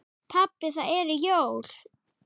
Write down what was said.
Pabbi það eru jól.